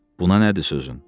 Buna nədir sözün?